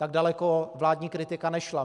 Tak daleko vládní kritika nešla.